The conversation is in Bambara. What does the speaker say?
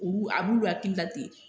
Olu a b'olu hakilila ten.